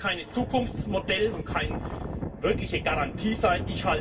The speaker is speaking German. Das kann kein Zukunftsmodell und keine wirkliche Garantie sein.